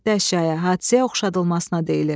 Dəşyə hadisəyə oxşadılmasına deyilir.